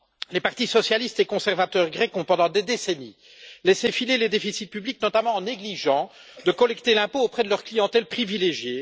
Les partis socialistes et conservateurs grecs ont, pendant des décennies, laissé filer les déficits publics, notamment en négligeant de collecter l'impôt auprès de leur clientèle privilégiée.